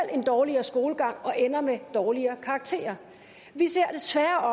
en dårligere skolegang og ender med dårligere karakterer vi ser